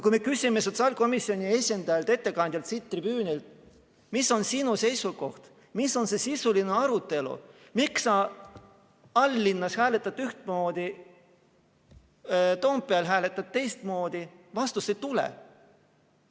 Kui me küsime sotsiaalkomisjoni esindajalt, ettekandjalt siit tribüünilt, mis on sinu seisukoht, mis on see sisuline arutelu, miks sa all-linnas hääletad ühtmoodi, Toompeal hääletad teistmoodi, siis vastust ei tule.